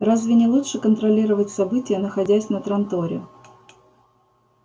разве не лучше контролировать события находясь на транторе